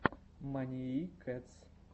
маниии кэтс